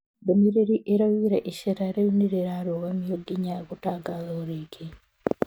Ndũmĩrĩri ĩraugĩre icera rĩu nĩrĩarugamio nginya gũtangathwo rĩngĩ.